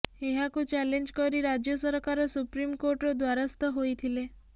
ଏହାକୁ ଚାଲେଞ୍ଜ କରି ରାଜ୍ୟ ସରକାର ସୁପ୍ରିମକୋର୍ଟର ଦ୍ବାରସ୍ଥ ହୋଇଥିଲେ